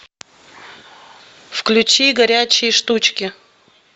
включи горячие штучки